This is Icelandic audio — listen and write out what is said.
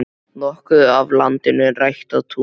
Nokkuð af landinu er ræktað tún.